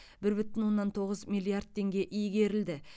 бір бүтін оннан тоғыз миллиард теңге игерілді